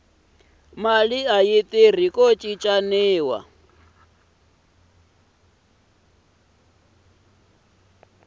mali aku tirha ku cincaniwa